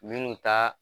Minnu ta